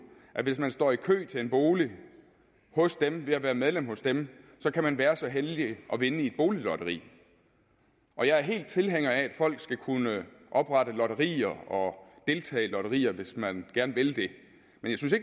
at hvis man står i kø til en bolig hos dem ved at være medlem hos dem kan man være så heldig at vinde i et boliglotteri jeg er helt tilhænger af at folk skal kunne oprette lotterier og deltage i lotterier hvis man gerne vil det men